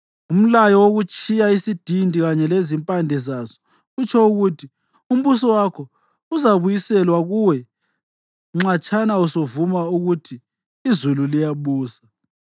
Umlayo wokutshiya isidindi kanye lezimpande zaso utsho ukuthi umbuso wakho uzabuyiselwa kuwe nxatshana usuvuma ukuthi iZulu liyabusa.